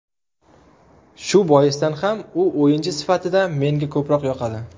Shu boisdan ham u o‘yinchi sifatida menga ko‘proq yoqadi.